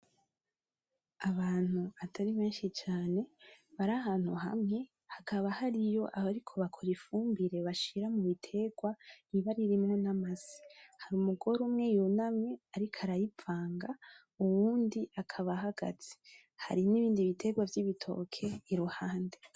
Abantu atari benshi cane bari ahantu hamwe, hakaba hariyo bamwe bariko bakora ifumbire bashira mubiterwa riba ririmwo n'Amase. Hari Umugore umwe yunamye ariko arayivanga, uwundi akaba ahagaze. Hari nibindi biterwa vy'Ibitoke iruhande.